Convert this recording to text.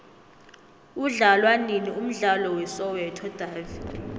udlalwanini umdlalo we soweto davi